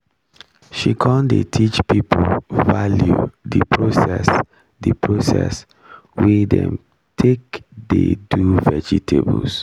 she con dey teach people value the process the process wey dem take dey do vegetables